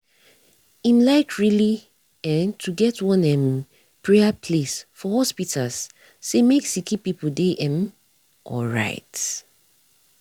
um like reli[um]to get one um praya place for hospitas cey make sicki pple dey um alright